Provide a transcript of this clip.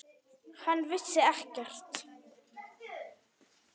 Hann vissi ekkert.